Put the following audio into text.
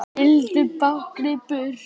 Vildu báknið burt.